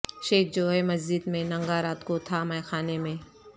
شیخ جو ہے مسجد میں ننگا رات کو تھا مے خانے میں